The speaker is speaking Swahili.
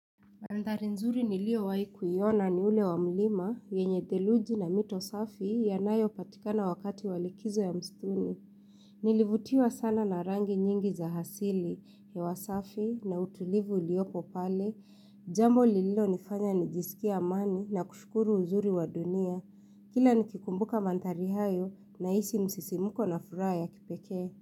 Mandhari nzuri nilio waiku yona ni ule wamlima, yenye theluji na mito safi yanayo patikana wakati walikizo ya mstuni. Nilivutiwa sana na rangi nyingi za hasili hewa safi na utulivu uliopo pale. Jambo lililo nifanya nijisikia amani na kushukuru uzuri wa dunia. Kila nikikumbuka mandhari hayo na isi msisimuko na furaa ya kipekee.